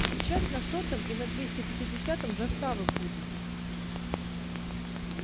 сейчас на сотом и на двести пятидесятом заставы будут